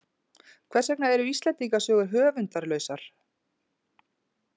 Hvers vegna eru Íslendingasögur höfundarlausar?